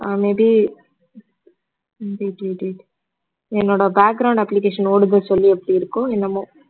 ah may be என்னோட application ஒடுது சொல்லி எப்படி இருக்கோ என்னமோ